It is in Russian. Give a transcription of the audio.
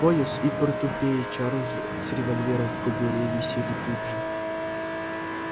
пояс и портупея чарлза с револьвером в кобуре висели тут же